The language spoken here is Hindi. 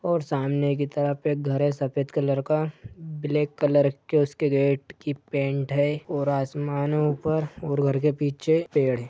और सामने की तरफ एक घर है सफ़ेद कलर का ब्लेक कलर के उसके गेट की पेंट है और आसमानों पर और घर के पीछे पेड़ है।